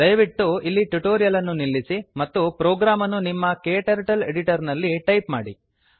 ದಯವಿಟ್ಟು ಇಲ್ಲಿ ಟ್ಯುಟೋರಿಯಲ್ ಅನ್ನು ನಿಲ್ಲಿಸಿ ಮತ್ತು ಪ್ರೋಗ್ರಾಮ್ ಅನ್ನು ನಿಮ್ಮ ಕ್ಟರ್ಟಲ್ ಎಡಿಟರ್ ನಲ್ಲಿ ಟೈಪ್ ಮಾಡಿ